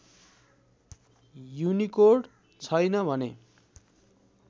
Unicode छैन भने